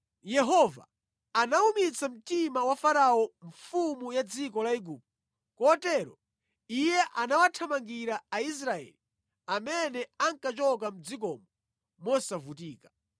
Yehova anawumitsa mtima wa Farao mfumu ya dziko la Igupto, kotero iye anawathamangira Aisraeli amene ankachoka mʼdzikomo mosavutika.